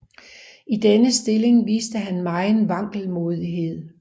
I denne stilling viste han megen vankelmodighed